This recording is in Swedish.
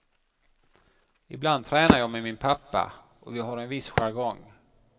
Ibland tränar jag med min pappa och vi har en viss jargong.